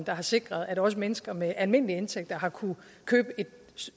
har sikret at også mennesker med almindelige indtægter har kunnet købe